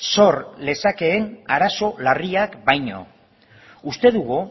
zor lezakeen arazo larriak baino uste dugu